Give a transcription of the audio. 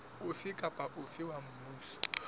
ofe kapa ofe wa mmuso